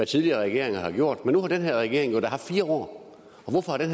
tidligere regeringer har gjort men nu har den her regering jo da haft fire år og hvorfor har den